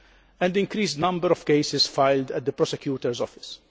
and an increased number of cases filed at the prosecutor's office.